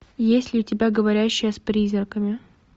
есть ли у тебя говорящая с призраками